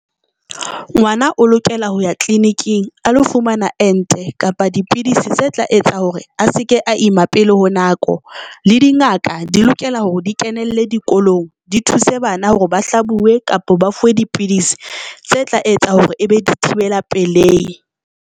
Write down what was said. Ngwana o lokela ho ya tleliniking a lo fumana ente kapa dipidisi tse tla etsa hore a se ke a ima pele ho nako le dingaka di lokela hore di kenelle dikolong, di thuse bana hore ba hlabuwe kapa ba fuwe dipidisi tse tla etsa hore ebe dithibela pelehi.